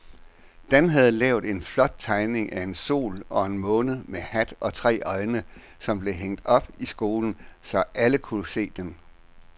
Dan havde lavet en flot tegning af en sol og en måne med hat og tre øjne, som blev hængt op i skolen, så alle kunne se den.